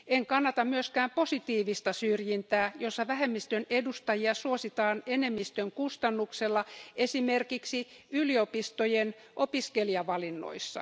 En kannata myöskään positiivista syrjintää, jossa vähemmistön edustajia suositaan enemmistön kustannuksella esimerkiksi yliopistojen opiskelijavalinnoissa.